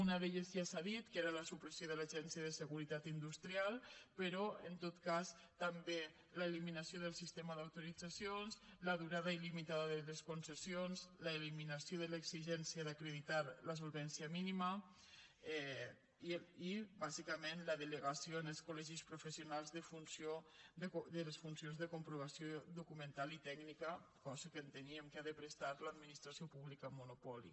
una d’elles ja s’ha dit que era la supressió de l’agència de seguretat industrial però en tot cas també l’eliminació del sistema d’autoritzacions la durada il·limitada de les concessions l’eliminació de l’exigència d’acreditar la solvència mínima i bàsicament la delegació en els col·legis professionals de les funcions de comprovació documental i tècnica cosa que enteníem que ha de prestar l’administració pública en monopoli